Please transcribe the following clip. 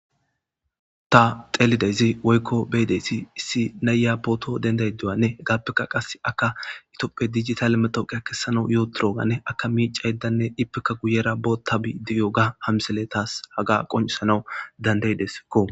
Ta xeelideyzi woykko beyedeyssi issi nayya pooto dendaydiwanne galpeka qase akka itooppe digital metooqe kessanau yooturoganne akka miica yddanne ippeka guyera bootabi diyoga hamsele taas haga qoncisanawu dandaydeskko.